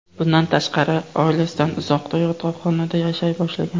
Bundan tashqari, oilasidan uzoqda, yotoqxonada yashay boshlagan.